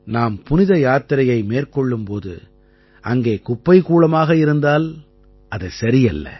நாம் புனித யாத்திரையை மேற்கொள்ளும் போது அங்கே குப்பைக்கூளமாக இருந்தால் அது சரியல்ல